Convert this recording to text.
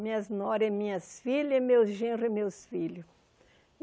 Minhas noras são minhas filhas e meus gêneros são meus filhos.